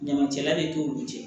Ɲamacɛla de t'olu cɛ